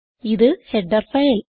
ഇത് header file